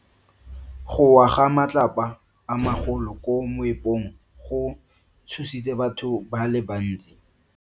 Go wa ga matlapa a magolo ko moepong go tshositse batho ba le bantsi.